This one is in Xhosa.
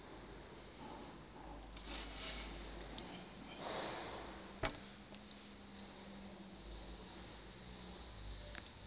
tyhini le nkosikazi